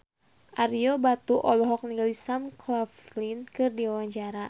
Ario Batu olohok ningali Sam Claflin keur diwawancara